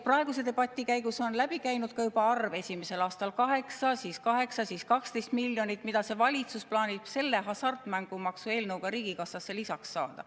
Praeguse debati käigus on läbi käinud ka juba arve: esimesel aastal 8, siis 8, siis 12 miljonit, mida see valitsus plaanib selle hasartmängumaksu eelnõuga riigikassasse lisaks saada.